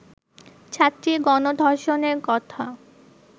ছাত্রীর গণধর্ষণের কথা